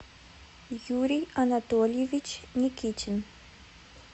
юрий анатольевич никитин